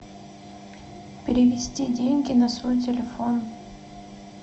перевести деньги на свой телефон